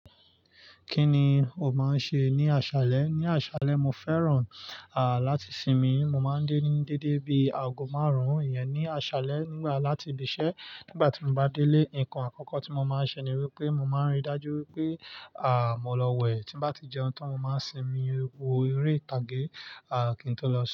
Kí ni o máa ń ṣe ní àṣálẹ́? Ní àṣálẹ́, mo fẹ́ràn láti sinmi. Mo máa ń dè ní déédé bí aago márùn-ún. Íyẹn ní àṣálẹ́. Nígbà láti ibi iṣẹ́ nígbà tí mo bá délé, ǹkan àkọ́kọ́ tí mo máa ṣe ni wípé mo máa ríi dájú wípé à mọ lọ wẹ̀. Tí ń bá ti jẹun, táń mọ̀ máa sinmi wo eré ìtàgé à kí ń tó lọ sun.